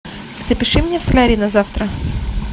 запиши меня в солярий на завтра